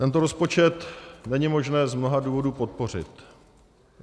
Tento rozpočet není možné z mnoha důvodů podpořit.